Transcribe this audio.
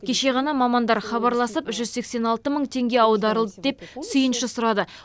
кеше ғана мамандар хабарласып жүз сексен алты мың теңге аударылды деп сүйінші сұрады